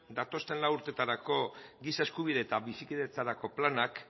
datozen lau urtetarako giza eskubide eta bizikidetzarako planak